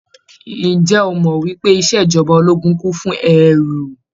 Ǹjẹ́ o mọ̀ wípé ìṣèjọba ológun kún fún ẹ́ru.